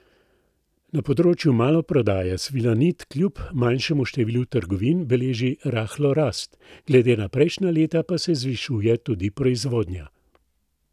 Na področju maloprodaje Svilanit kljub manjšemu številu trgovin beleži rahlo rast, glede na prejšnja leta pa se zvišuje tudi proizvodnja.